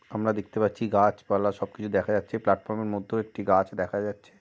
আমরা দেখতে পাচ্ছি গাছ পালা সব কিছু দেখা যাচ্ছে প্লাটফর্ম এর মধ্যেও একটি গাছ দেখা যাচ্ছে।